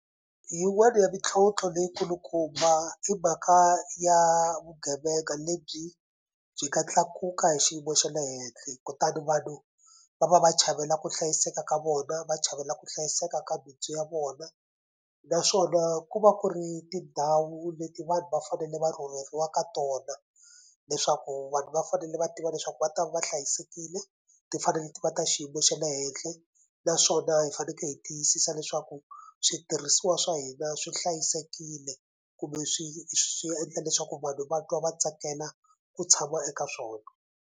Yin'wani ya mintlhontlho leyi kulukumba i mhaka ya vugevenga lebyi byi nga tlakuka hi xiyimo xa le henhle kutani vanhu va va va chavela ku hlayiseka ka vona va chavela ku hlayiseka ka bindzu ya vona naswona ku va ku ri tindhawu leti vanhu va fanele va rhurheriwa ka tona leswaku vanhu va fanele va tiva leswaku va ta va hlayisekile ti fanele ti va ta xiyimo xa le henhle naswona hi faneke hi tiyisisa leswaku switirhisiwa swa hina swi hlayisekile kumbe swi swi endla leswaku vanhu va twa va tsakela ku tshama eka swona.